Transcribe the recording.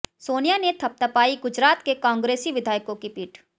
सोनिया ने थपथपायी गुजरात के कांग्रेसी विधायकों की पीठ